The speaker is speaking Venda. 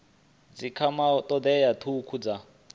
dzi kwamaho thodea thukhu dza